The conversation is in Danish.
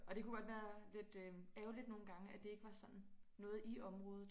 Og det kunne godt være lidt øh ærgerligt nogen gange at det ikke var sådan noget i området